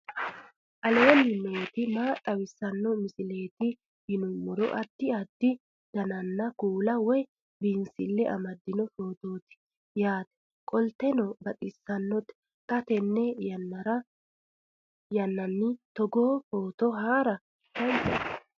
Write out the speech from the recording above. aleenni nooti maa xawisanno misileeti yinummoro addi addi dananna kuula woy biinsille amaddino footooti yaate qoltenno baxissannote xa tenne yannanni togoo footo haara danvchate